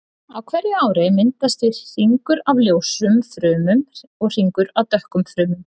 Á hverju ári myndast því hringur af ljósum frumum og hringur af dökkum frumum.